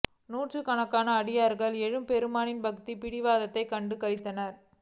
நூற்றுக் கணக்கான அடியவர்கள் எம்பெருமானின் பக்திப் பிராவகத்தைக் கண்டு களித்தனர்